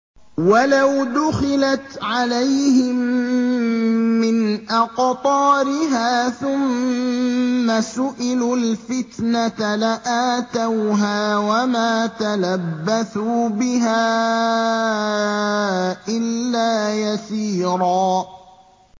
وَلَوْ دُخِلَتْ عَلَيْهِم مِّنْ أَقْطَارِهَا ثُمَّ سُئِلُوا الْفِتْنَةَ لَآتَوْهَا وَمَا تَلَبَّثُوا بِهَا إِلَّا يَسِيرًا